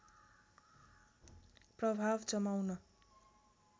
प्रभाव जमाउन